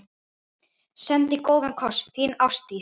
Sendi góðan koss, þín Ástdís.